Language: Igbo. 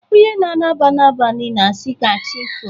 Onye na-alaba n'abanị na-asị, "Ka chị foo!"